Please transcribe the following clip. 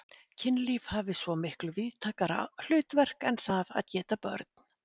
Kynlíf hafi svo miklu víðtækara hlutverk en það að geta börn.